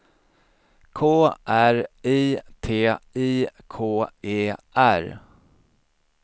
K R I T I K E R